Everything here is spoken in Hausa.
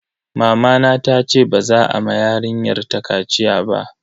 Mamana tace ba za a ma yarinyar ta kaciya ba.